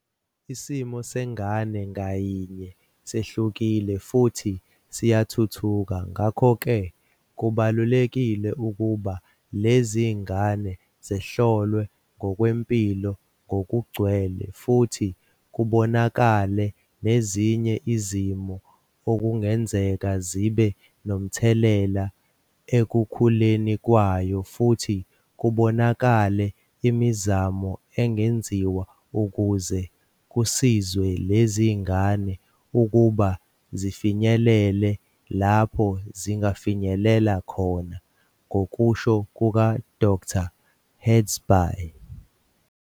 "Isimo sengane ngayinye sehlukile futhi siyathuthuka, ngakho-ke kubalulekile ukuba lezi ngane zihlolwe ngokwempilo ngokugcwele futhi kubonakale nezinye izimo okungenzeka zibe nomthelela ekukhuleni kwayo futhi kubonakale imizamo engenziwa ukuze kusizwe lezingane ukuba zifinyelele lapho zingafinyelela khona," ngokusho kuka-Dkt. hazbhay.